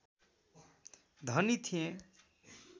धनी थिए